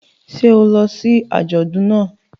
Ṣé o lọ sí àjọdùn náà?